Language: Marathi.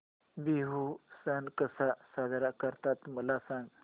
बिहू सण कसा साजरा करतात मला सांग